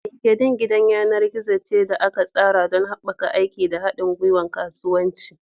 LinkedIn gidan yanar gizo ce da aka tsara don haɓaka aiki da haɗin gwiwar kasuwanci.